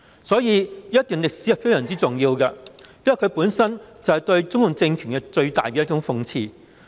所以，這一段歷史是非常重要的，因為它本身就是對中共政權最大的諷刺。